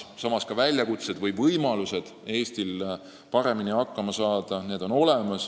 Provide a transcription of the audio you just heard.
Samas on Eestil olemas ka võimalused selleks, et paremini hakkama saada.